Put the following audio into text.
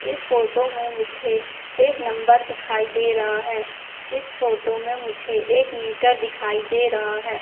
इस फोटो में मुझे एक नंबर दिखाई दे रहा है इस फोटो में मुझे एक मीटर दिखाई दे रहा है।